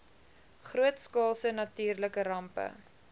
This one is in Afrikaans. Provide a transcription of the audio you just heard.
grootskaalse natuurlike rampe